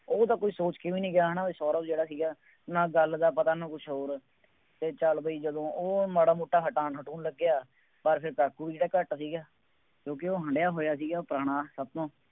ਉਹ ਤਾਂ ਕੋਈ ਸੋਚ ਕੇ ਵੀ ਨਹੀਂ ਗਿਆ, ਹੈ ਨਾ, ਸੌਰਵ ਜਿਹੜਾ ਸੀਗਾ, ਨਾ ਗੱਲ ਦਾ ਪਤਾ ਨਾ ਕੁੱਛ ਹੋਰ ਅਤੇ ਚੱਲ ਬਈ ਜਦੋਂ ਉਹ ਮਾੜਾ ਮੋਟਾ ਹਟਾਉਣ ਲੱਗਿਆ, ਬਸ ਫੇਰ ਕਾਕੂ ਵੀ ਕਿਹੜਾ ਘੱਟ ਸੀਗਾ, ਕਿਉਂਕਿ ਉਹ ਹੰਢਿਆ ਹੋਇਆ ਸੀਗਾ, ਪੁਰਾਣਾ ਸਭ ਤੋਂ